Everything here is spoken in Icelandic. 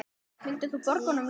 Vildir þú borga honum laun?